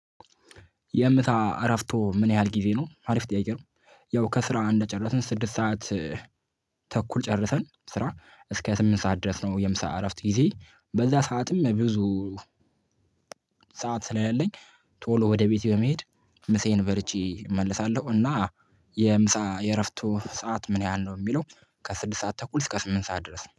የምሳ አረፍቶ ምን ያህል ጊዜ ነው አሪፍ ጥያቄ ነው? ያው ከስራ እንደጨረስን ስድስት ሰዓት። ጨርሰን ስራ እስከ ስምንት ሰዓት ድረስ ነው የምሳ እረፍት ጊዜ በዛ ሰዓትም ብዙ። ሰዓት ስለሌለኝ ቶሎ ወደ ቤቴ በመሄድ ምሴን በልቼ እመልሳለሁ። እና የምሳ የእረፍቶ ሰዓት ምን ያህል ነው? የሚለው ከስድስት ሰዓት ተኩል እስከ ስምንት ሰዓት ድረስ ነው